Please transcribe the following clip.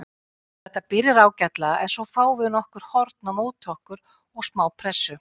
Þetta byrjar ágætlega en svo fáum við nokkur horn á móti okkur og smá pressu.